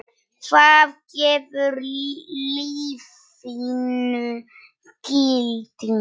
Hvað gefur lífinu gildi?